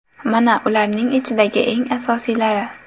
Mana ularning ichidagi eng asosiylari.